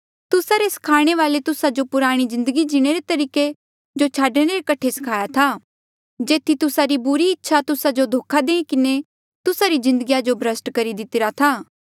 तुस्सा रे स्खाणे वाले तुस्सा जो पुराणे जिन्दगी जीणे रे तरीके जो छाडणे रे कठे सखाईरा था जेथी तुस्सा री बुरी इच्छे तुस्सा जो धोखा देई किन्हें तुस्सा री जिन्दगीया जो भ्रष्ट करी दितिरा था